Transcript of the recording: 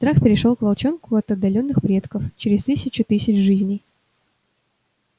страх перешёл к волчонку от отдалённых предков через тысячу тысяч жизней